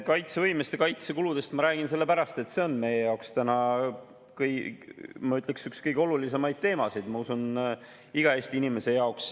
Kaitsevõimest ja kaitsekuludest ma räägin sellepärast, et see on meie jaoks täna, ma ütleksin, üks kõige olulisemaid teemasid, ma usun, et iga Eesti inimese jaoks.